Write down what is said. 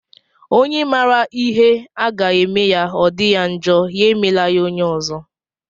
Onye mara ihe a ga-eme ya o di ya njọ, ya emela ya onye ọzọ.